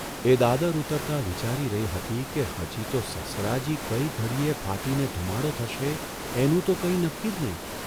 એ દાદર ઊતરતા વિચારી રહી હતી કે હજી તો સસરાજી કઇ ઘડીને ફાટીને ધુમાડો થશે એનું તો કંઇ નક્કી જ નહીં !